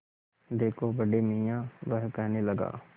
देखो बड़े मियाँ वह कहने लगा